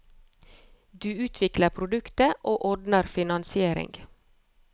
Du utvikler produktet, og ordner finansiering.